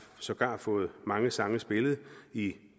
sågar fået mange sange spillet i